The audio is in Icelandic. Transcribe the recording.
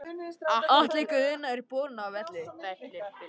Atli Guðna er borinn af velli.